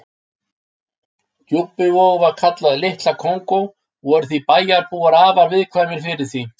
Djúpivogur var kallaður Litla Kongó og voru bæjarbúar afar viðkvæmir fyrir því.